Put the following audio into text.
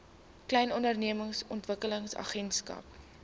klein ondernemings ontwikkelingsagentskap